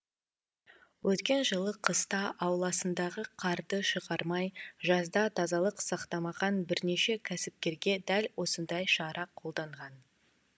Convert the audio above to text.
өткен жылы қыста ауласындағы қарды шығармай жазда тазалық сақтамаған бірнеше кәсіпкерге дәл осындай шара қолданған